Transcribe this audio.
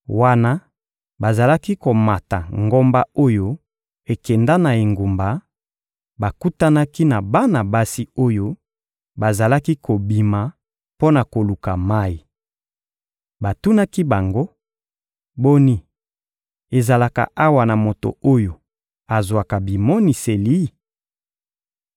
Wana bazalaki komata ngomba oyo ekenda na engumba, bakutanaki na bana basi oyo bazalaki kobima mpo na koluka mayi. Batunaki bango: — Boni, ezalaka awa na moto oyo azwaka bimoniseli?